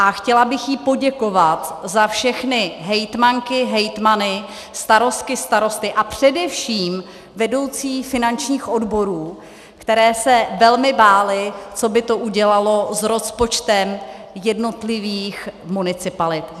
A chtěla bych jí poděkovat za všechny hejtmanky, hejtmany, starostky, starosty a především vedoucí finančních odborů, kteří se velmi báli, co by to udělalo s rozpočtem jednotlivých municipalit.